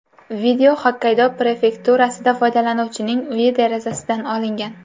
Video Xokkaydo prefekturasida foydalanuvchining uyi derazasidan olingan.